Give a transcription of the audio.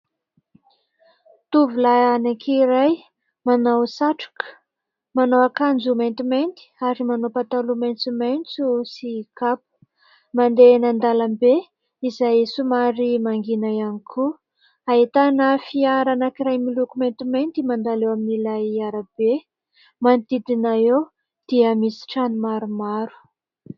Tovolahy anankiray manao satroka, manao akanjo maintimainty ary manao pataloha maitsomaitso sy kapa ; mandeha eny an-dalambe izay somary mangina ihany koa. Ahitana fiara anankiray miloko maintimainty mandalo eo amin'n'ilay arabe. Manodidina eo dia misy trano maromaro.